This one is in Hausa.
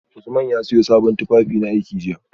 Usman ya siyo sabon tufafinaiki jiya